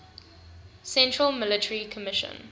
central military commission